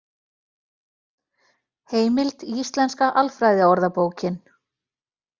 Heimild Íslenska alfræðiorðabókin.